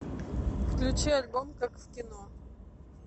включи альбом как в кино